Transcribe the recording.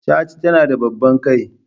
Chat tana da babban kai.